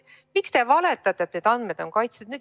Miks te valetate, et andmed on kaitstud?